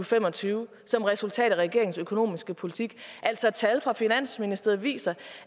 fem og tyve som resultat af regeringens økonomiske politik altså tal fra finansministeriet viser